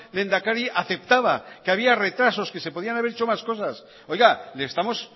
lehendakari aceptaba que había retrasos que se podían haber hecho más cosas oiga le estamos